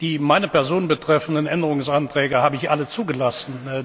Die meine Person betreffenden Änderungsanträge habe ich alle zugelassen.